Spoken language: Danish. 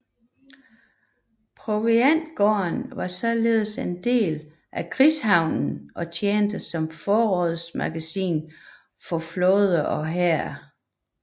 Proviantgården var således en del af krigshavnen og tjente som forrådsmagasin for flåde og hær